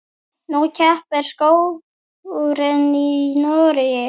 Nú kreppir skórinn í Noregi.